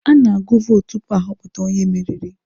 A na-agụ vootu tupu ahọpụta onye meriri.